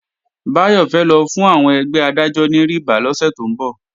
Báyọ̀ fẹ́ lọ fún àwọn ẹgbẹ́ Adájọ́ ní rìbá lọ́sẹ̀ tó ń bọ̀